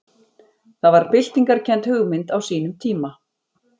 Það var byltingarkennd hugmynd á sínum tíma.